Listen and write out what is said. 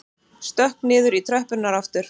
Stökk niður í tröppurnar aftur.